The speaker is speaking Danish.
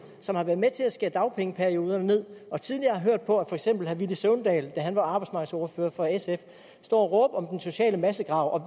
som har været med til at skære dagpengeperioden ned og tidligere har hørt for eksempel herre villy søvndal da han var arbejdsmarkedsordfører for sf stå og råbe om den sociale massegrav og